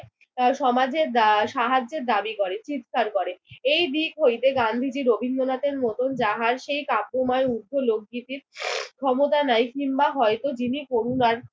আহ সমাজের দা সাহায্যের দাবি করে, চিৎকার করে। এই দিক হইতে গান্ধীজি রবীন্দ্রনাথের মতন যাহার সেই কাব্যময় উপলব্ধিটির ক্ষমতা নাই কিংবা হয়ত যিনি করুণার